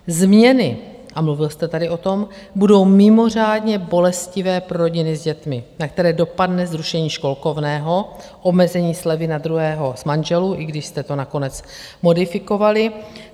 Změny a mluvil jste tady o tom, budou mimořádně bolestivé pro rodiny s dětmi, na které dopadne zrušení školkovného, omezení slevy na druhého z manželů, i když jste to nakonec modifikovali.